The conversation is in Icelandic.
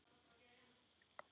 Kakan mun falla aðeins saman.